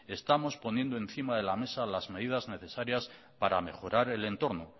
estamos poniendo encima de la mesa las medidas necesarias para mejorar el entorno